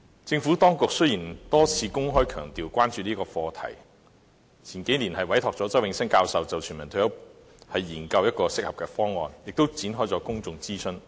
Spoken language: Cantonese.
政府當局多次公開強調關注這個課題，數年前委託周永新教授就全民退休保障研究適合的方案，亦曾展開公眾諮詢。